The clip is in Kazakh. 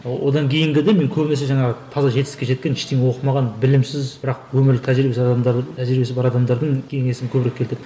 одан кейінгі де мен көбінесе жаңағы таза жетістікке жеткен ештеңе оқымаған білімсіз бірақ өмірлік тәжірибесіз адамдар тәжірибесі бар адамдардың бейнесін көбірек келтірдім